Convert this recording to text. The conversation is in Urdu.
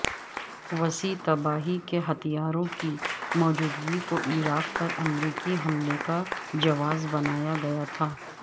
وسیع تباہی کے ہتھیاروں کی موجودگی کوعراق پر امریکی حملے کا جواز بنایا گیا تھا